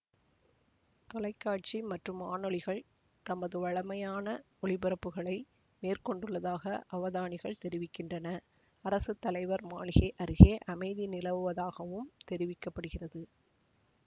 தொலைக்காட்சி மற்றும் வானொலிகள் தமது வழமையான ஒலிபரப்புகளை மேற்கொண்டுள்ளதாக அவதானிகள் தெரிவிக்கின்றனர் அரசு தலைவர் மாளிகை அருகே அமைதி நிலவுவதாகவும் தெரிவிக்க படுகிறது